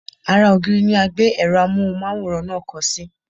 Ara ògiri ni a gbé èrò Amóhùnmáwòrán náà kọ́ sí.